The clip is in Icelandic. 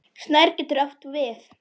Snær getur átt við